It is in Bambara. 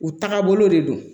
U taga bolo de don